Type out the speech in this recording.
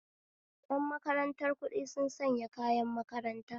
Yan makarantar kuɗi sun sanya kayan makaranta